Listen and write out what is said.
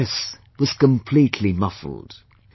The press was completely muffled